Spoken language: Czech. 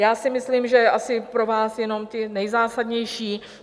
Já si myslím, že asi pro vás jenom ty nejzásadnější.